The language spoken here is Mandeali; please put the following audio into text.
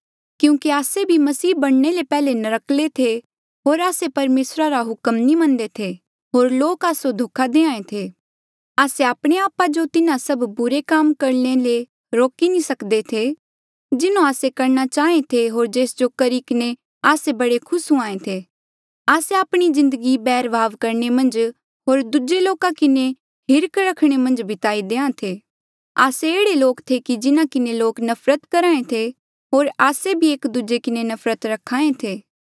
क्यूंकि आस्से भी मसीह बणने ले पैहले नर्क्कले थे होर आस्से परमेसरा रा हुक्म नी मनदे थे होर लोक आस्सो धोखा दे थे आस्से आपणे आपा जो तिन्हा सब बुरे काम करणे ले नी रोकी सकदे थे जिन्हों आस्से करणा चाहें थे होर जेस जो करी किन्हें आस्से बड़े खुस हुयें थे आस्से आपणी जिन्दगी बैरभाव करणे मन्झ होर दूजे लोका किन्हें हिर्खा रखणे मन्झ बिताहें थे आस्से एह्ड़े लोक थे जिन्हा किन्हें लोक नफरत करहे थे होर आस्से भी एक दूजे किन्हें नफरत रख्हा ऐें थे